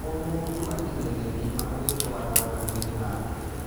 O mũndũ atinagia ngima agĩtwaraga kanuainĩ gake.